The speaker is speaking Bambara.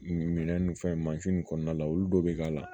Minɛn nun fɛn mansi nin kɔnɔna la olu dɔw bɛ k'a la